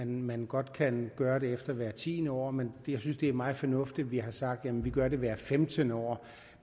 man godt kan gøre det efter hvert tiende år men jeg synes det er meget fornuftigt at vi har sagt at vi gør det hvert femtende år